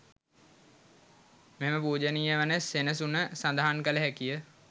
මෙම පූජනීය වන සෙනසුන සඳහන් කළ හැකිය.